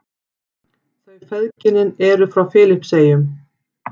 Þau feðginin eru frá Filippseyjum.